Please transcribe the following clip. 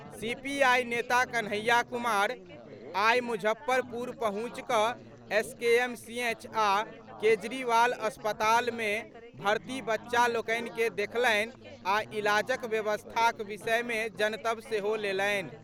CPI नेता कन्हैया कुमार आइ मुजफ्फरपुर पहुंचि कऽ एसकेएमसीएच आ केजरीवाल अस्पताल मे भर्ती बच्चा लोकनि के देखलनि आ इलाजक व्यवस्थाक विषय मे जनतब सेहो लेलनि।